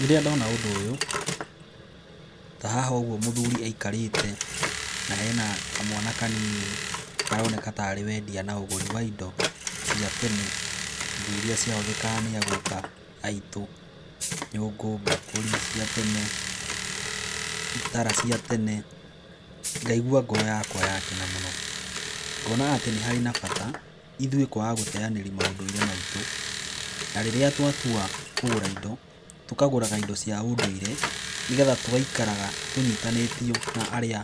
Rĩrĩa ndona ũndũ ũyũ ta haha ũguo mũthuri aikarĩte na hena kamwana kanini, karoneka ta arĩ wendia na ũgũri wa indo cia tene. Indo irĩa ciahũthĩkaga nĩ a guka aitũ; nyũngũ, mbakũri cia tene, itara cia tene, ngaigua ngoro yakwa ya kena mũno. Ngona atĩ nĩ harĩ na bata, ithuĩ kwaga gũteanĩria maũndũire maitũ. Na rĩrĩa twatua kũgũra indo, tũkagũraga indo cia ũndũire, nĩgetha tũgaikaraga tũnyitanĩtio na arĩa